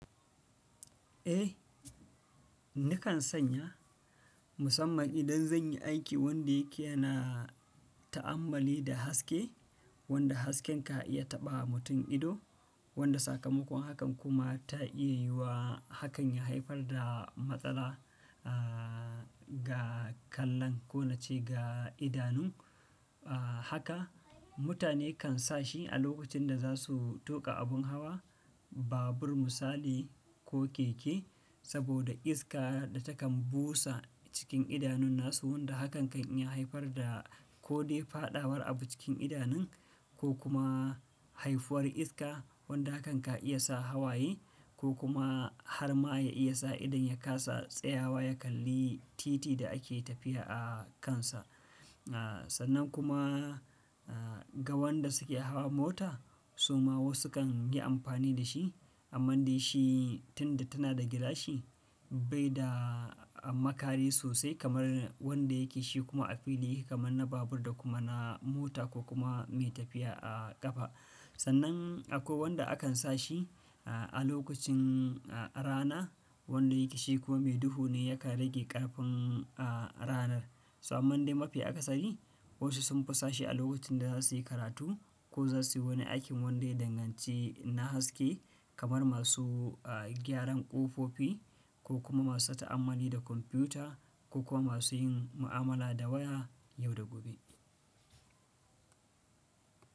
Ei, nakan sanya musamman idan zan yi aiki wanda yake na ta'amalli da haske, wanda hasken ka iya taɓa mutum ido, wanda sakamakon hakan kuma ta iya yiwa hakan ya haifar da matsala, a ga kallon ko nace ga idanun, a haka mutane kan sa shi a lokacin da za su tuƙa abun hawa, babur misali ko keke, saboda iska da takan busa cikin idanun nasu wanda hakan kan iya haifar da ko dai faɗawar abu cikin idanun ko kuma haifuwar iska wadda hakan ka iya sa hawaye ko kuma har ma ya iya sa idan ya kasa tsayawa ya kalli titi da ake tafiya a kansa. A sannan kuma, aa, ga wanda suke hawar mota suma wasu kan yi amfani da shi, amma dai shi tun da tana da gilashi bai da makari sosai kamar wanda yake shi kuma a fili kamar na babur da kuma na mota ko kuma mai tafiya a ƙafa. Sannan akwai wanda akan sa shi, a lokacin, rana wanda yake shi kuwa mai duhu ne ya ka rage ƙarfin, ranar. Toh amman dai mafi aka sani wasu sunfi sashi a lokacin da za su yi karatu ko za su yi wani aikin wanda ya danganci na haske kamar masu, gyaran ƙofofi ko kuma masu ta'amalli da kwamfuta ko kuma masu yin mu'amala da waya yau da gobe.